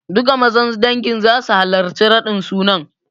Duka mazan dangin sun halarci raɗin sunan.